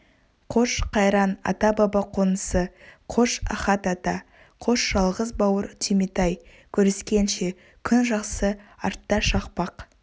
қош қайран ата-баба қонысы қош ахат ата қош жалғыз бауыр түйметай көріскенше күн жақсы артта шақпақ